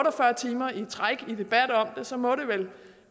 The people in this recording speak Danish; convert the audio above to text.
og fyrre timer i træk må det vel